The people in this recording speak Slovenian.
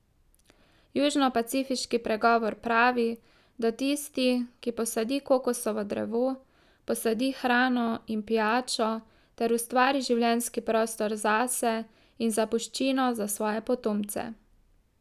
Južnopacifiški pregovor pravi, da tisti, ki posadi kokosovo drevo, posadi hrano in pijačo ter ustvari življenjski prostor zase in zapuščino za svoje potomce.